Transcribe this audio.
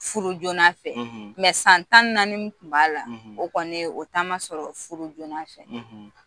Furu joona fɛ. san tan ni naani min kun b'a la , o kɔni o ta ma sɔrɔ furu joona fɛ.